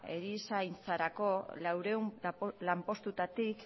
erizaintzarako laurehun lanpostuetatik